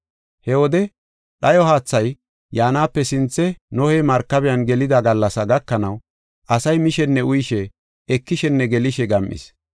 He wode dhayo haathay yaanape sinthe Nohey markabiyan gelida gallasa gakanaw, asay mishenne uyishe, ekishenne gelishe gam7is.